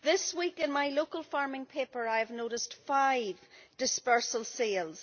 This week in my local farming paper I have noticed five dispersal sales.